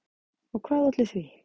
Og hvað olli því?